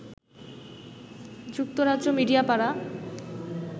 যুক্তরাজ্য মিডিয়া পাড়া